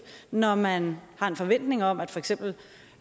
når man har en forventning om at for eksempel